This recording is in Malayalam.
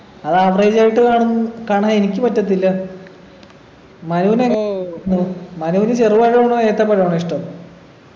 അത് average ആയിട്ട് കാണ് കാണാൻ എനിക്ക് പറ്റത്തില്ല മനുവിനെ ഉം മനുവിന് ചെറുപഴമാണോ ഏത്തപ്പഴമാണോ ഇഷ്ടം